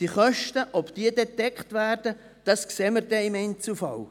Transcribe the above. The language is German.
Ob die Kosten dann gedeckt werden, sehen wir dann im Einzelfall.